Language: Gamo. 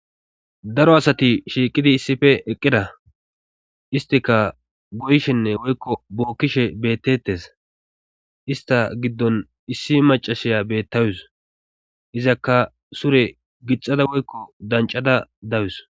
daro asati shiiqidi issife eqqida istika goyshenne woykko bookkishe bettettes ista giddon issi macashiya bettawus izakka sure gixada woykko dancada dawus